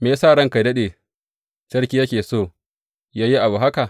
Me ya sa ranka yă daɗe, sarki yake so yă yi abu haka?